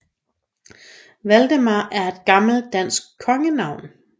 Valdemar er et gammelt dansk kongenavn